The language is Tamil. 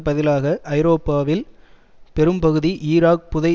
பதிலாக ஐரோப்பாவில் பெரும்பகுதி ஈராக் புதை